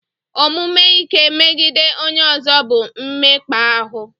Omume ike megide onye ọzọ bụ mmekpa ahụ.